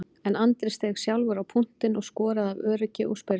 En Andri steig sjálfur á punktinn og skoraði af öryggi úr spyrnunni.